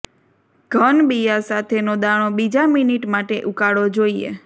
ઘન બિયાં સાથેનો દાણો બીજા મિનિટ માટે ઉકાળો જોઈએ